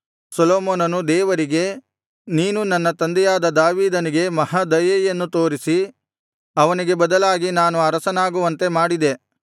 ಸೊಲೊಮೋನನು ದೇವರಿಗೆ ನೀನು ನನ್ನ ತಂದೆಯಾದ ದಾವೀದನಿಗೆ ಮಹಾ ದಯೆಯನ್ನು ತೋರಿಸಿ ಅವನಿಗೆ ಬದಲಾಗಿ ನಾನು ಅರಸನಾಗುವಂತೆ ಮಾಡಿದೆ